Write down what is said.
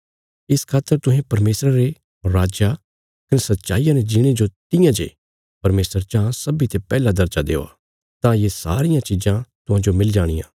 इस खातर तुहें परमेशरा रे राज्जा कने सच्चाईया ने जीणे जो तियां जे परमेशर चाँह सब्बीं ते पैहला दर्जा देआ तां ये सारी चिज़ां तुहांजो मिली जाणियां